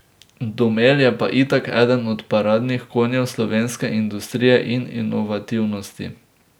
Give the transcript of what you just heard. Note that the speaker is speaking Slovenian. Domel je pa itak eden od paradnih konjev slovenske industrije in inovativnosti.